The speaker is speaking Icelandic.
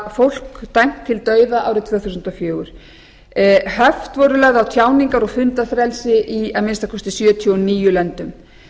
fólk dæmt til dauða árið tvö þúsund og fjögur höft voru lögð á tjáningar og fundafrelsi í að minnsta kosti sjötíu og níu löndum